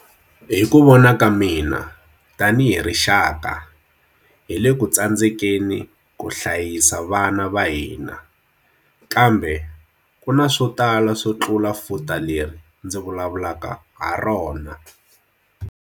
Hi ku vona ka mina, tanihi rixaka, hi le ku tsandzekeni ku hlayisa vana va hina. Kambe ku na swo tala swo tlula futa leri ndzi vulavulaka harona.